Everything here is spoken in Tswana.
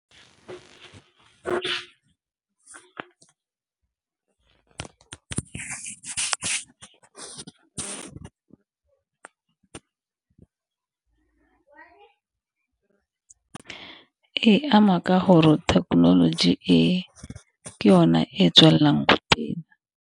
E ama ka gore thekenoloji e, ke yona e e tswelelang ko pele.